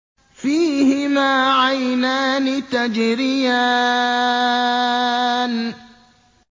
فِيهِمَا عَيْنَانِ تَجْرِيَانِ